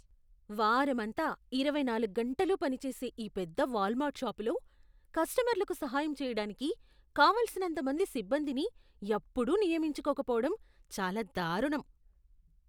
వారమంతా, ఇరవైనాలుగ్గంటలూ పని చేసే ఈ పెద్ద వాల్మార్ట్ షాపులో కస్టమర్లకు సహాయం చేయడానికి కావలసినంతమంది సిబ్బందిని ఎప్పుడూ నియమించుకోకపోవటం చాలా దారుణం .